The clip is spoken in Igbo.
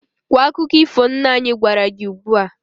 Kwuo akụkọ ifo nna anyị gwara gị ugbu a!